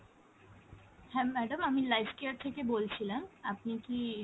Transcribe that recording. হ্যাঁ madam আমি lifecare থেকে বলছিলাম, আপনি কি